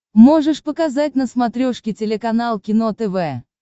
можешь показать на смотрешке телеканал кино тв